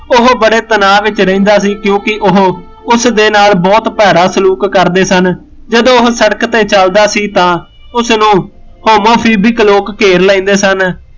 ਉਹ ਬੜੇ ਤਣਾਅ ਵਿੱਚ ਰਹਿੰਦਾ ਸੀ ਕਿਉਕਿ ਉਹ ਉਸਦੇ ਨਾਲ਼ ਬਹੁਤ ਭਾਰਾ ਸਲੂਕ ਕਰਦੇ ਸਨ, ਜਦੋਂ ਉਹ ਸੜਕ ਤੇ ਚੱਲਦਾ ਸੀ ਤਾਂ ਉਸਨੂ homophobic ਲੋਕ ਘੇਰ ਲੈਂਦੇ ਸਨ